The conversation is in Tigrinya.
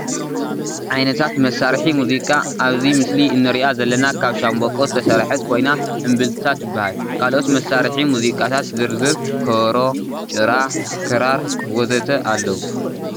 ዓይነታት መሳርሒ ሙዚቃ አኣብዚ ምስሊ አንሪኣ ዘለና ካብ ሻንበቆ ዝተሰረሐት ኮይና እምብልታ ትበሃል። ካልኦት መሳሪሒ ሙዚቃታት ዝርዝር ከበሮ፣ ጥራ፣ ክራር ...ወዘተ ኣለው ።